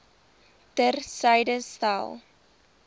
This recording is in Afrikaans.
ter syde stel